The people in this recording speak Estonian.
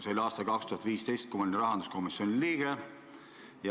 See oli aastal 2015, kui ma olin rahanduskomisjoni liige.